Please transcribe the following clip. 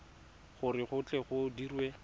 gore go tle go dirwe